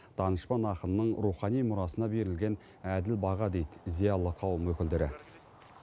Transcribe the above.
данышпан ақынның рухани мұрасына берілген әділ баға дейді зиялы қауым өкілдері